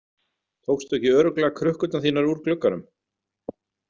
Tókstu ekki örugglega krukkurnar þínar úr glugganum?